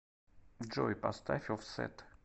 джой поставь оффсет